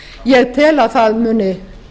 ég tel að það muni